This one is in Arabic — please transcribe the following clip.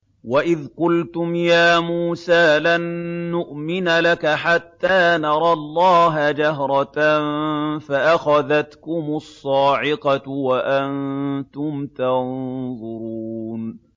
وَإِذْ قُلْتُمْ يَا مُوسَىٰ لَن نُّؤْمِنَ لَكَ حَتَّىٰ نَرَى اللَّهَ جَهْرَةً فَأَخَذَتْكُمُ الصَّاعِقَةُ وَأَنتُمْ تَنظُرُونَ